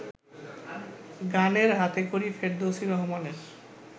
গানের হাতেখড়ি ফেরদৌসী রহমানের